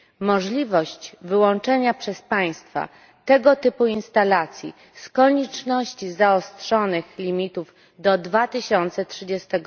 Możliwość wyłączenia przez państwa tego typu instalacji z konieczności zaostrzonych limitów do 2030